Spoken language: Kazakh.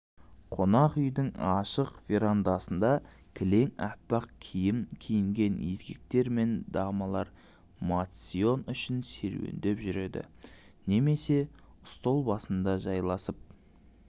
қонақ үйдің ашық верандасында кілең аппақ киім киінген еркектер мен дамалар моцион үшін серуендеп жүреді немесе стол басында жайласып